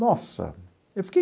Nossa, eu fiquei